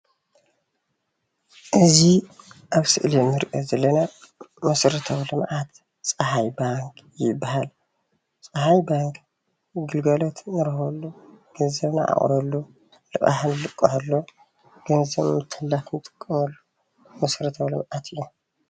እዚ ኣብ ምስሊ እንሪኦ ዘለና መሠረታዊ ልምዓት ፀሓይ ባንኪ ይበሃል። ፀሓይ ባንኪ ግልጋሎት እንረኽበሉ፣ ገንዘብ እንዓቁረ፣ ልቃሕ እንልቀሐሉ ፣ገንዘብ እነተሓላልፈሉ መሰረታዊ ልምዓት እዩ።